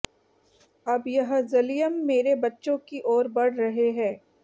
अब यह ज़लियम मेरे बच्चों की ओर बढ़ रहे हैं